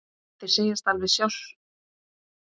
Þeir segjast alveg stundum slást.